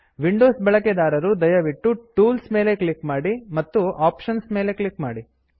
Windows ಬಳಕೆದಾರರು ದಯವಿಟ್ಟು tools tools ಮೇಲೆ ಕ್ಲಿಕ್ ಮಾಡಿ ಮತ್ತು ಆಪ್ಷನ್ಸ್ ಆಪ್ಶನ್ಸ್ ನ ಮೇಲೆ ಕ್ಲಿಕ್ ಮಾಡಿ